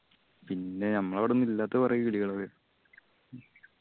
പിന്നെ നമ്മളവടൊന്നും ഇല്ലാത്തെ കൊറേ കിളികൾ